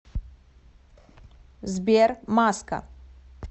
сбер маска